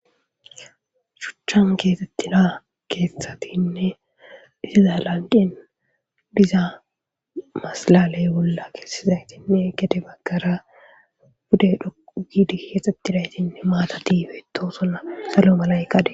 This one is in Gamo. Shuchan keexettida kethatinne didiza lanqin diza masalaley bolla keesizaytinne gede baggara bude dhoqu giidi keexxettidaytinne maata diife tosonna salo malaykade